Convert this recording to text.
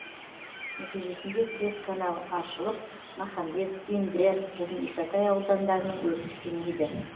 нәтижесінде төрт канал аршылып махамбет индер және исатай аудандарының өрісі кеңейді